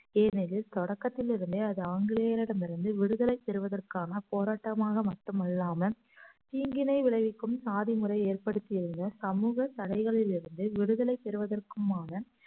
ஏனெனில் தொடக்கத்திலிருந்தே அது ஆங்கிலேயரிடம் இருந்து விடுதலை பெறுவதற்கான போராட்டமாக மட்டுமல்லாமல் தீங்கினை விளைவிக்கும் சாதி முறை ஏற்படுத்தியுள்ள சமூக தடைகளில் இருந்து விடுதலை பெறுவதற்குமான